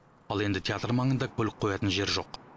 ал енді театр маңында көлік қоятын жер жоқ